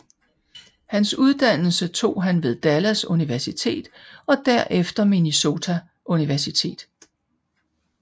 Hans uddannelse tog han ved Dallas Universitet og derefter Minnesota Universitet